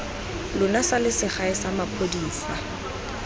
lona sa selegae sa maphodisa